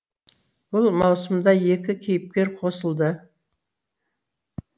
бұл маусымда екі кейіпкер қосылды